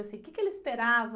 Assim, o quê que ele esperava?